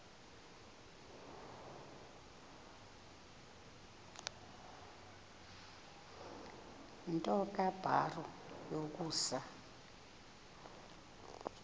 nto kubarrow yokusa